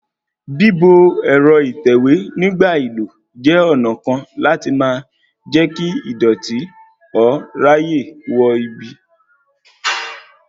Bíbo ẹ̀rọ ìtẹ̀wé nígbà àìlò jẹ́ ọ̀nà kan láti má jẹ́ kí ìdọ̀tí ó ráyè wọ ibi